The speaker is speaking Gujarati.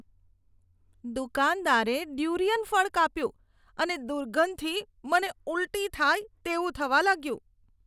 દુકાનદારે ડ્યુરિયન ફળ કાપ્યું અને દુર્ગંધથી મને ઊલટી થાય તેવું થવા લાગ્યું.